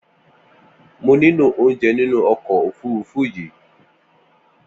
Mò niló óunjẹ̀ ninú ọkọ ófùrùfù yi